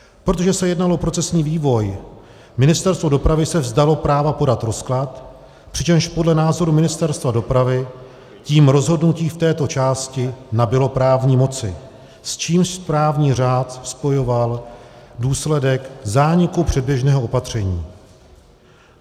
Protože se jednalo o procesní vývoj, Ministerstvo dopravy se vzdalo práva podat rozklad, přičemž podle názoru Ministerstva dopravy tím rozhodnutí v této části nabylo právní moci, s čímž správní řád spojoval důsledek zániku předběžného opatření.